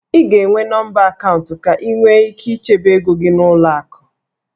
Ị ga-enwe nọmba akaụntụ ka ị nwee ike ichebe ego gị n'ụlọ akụ.